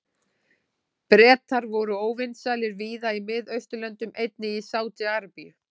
Bretar voru óvinsælir víða í Mið-Austurlöndum, einnig í Sádi-Arabíu.